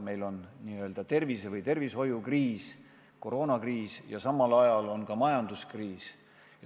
Meil on n-ö tervise- või tervishoiukriis – koroonakriis – ja samal ajal ka majanduskriis.